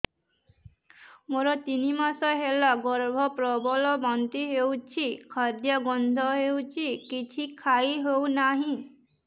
ମୋର ତିନି ମାସ ହେଲା ଗର୍ଭ ପ୍ରବଳ ବାନ୍ତି ହଉଚି ଖାଦ୍ୟ ଗନ୍ଧ ହଉଚି କିଛି ଖାଇ ହଉନାହିଁ